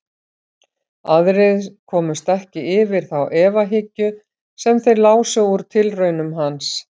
Aðrir komust ekki yfir þá efahyggju sem þeir lásu úr tilraunum hans.